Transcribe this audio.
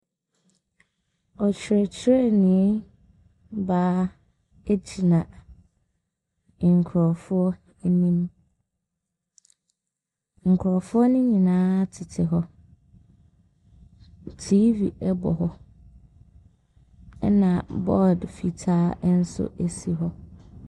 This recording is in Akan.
Ɔkyerɛkyerɛni baa gyina nkurɔfoɔ anim. Nkurɔfoɔ no nyinaa tete hɔ. TV bɔ hɔ, ɛnna board fitaa nso si hɔ.